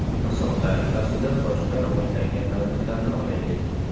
Misol tariqasida boshqa rivojlangan davlatlarni olaylik.